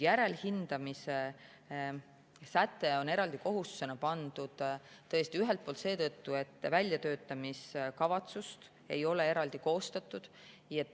Järelhindamise säte on eraldi kohustusena pandud tõesti ühelt poolt seetõttu, et väljatöötamiskavatsust ei ole eraldi koostatud.